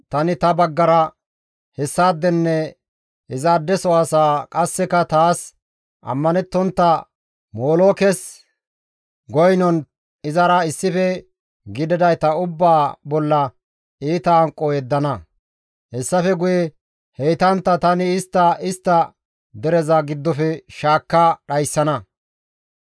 tani ta baggara hessaadenne izaadeso asaa qasseka taas ammanettontta molookes goynnon izara issife gididayta ubbaa bolla iita hanqo yeddana; hessafe guye heytantta tani istta istta dereza giddofe shaakka dhayssana.